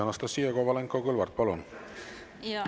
Anastassia Kovalenko-Kõlvart, palun!